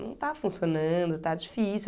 Não está funcionando, está difícil.